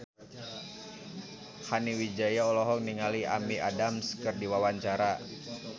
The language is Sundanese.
Nani Wijaya olohok ningali Amy Adams keur diwawancara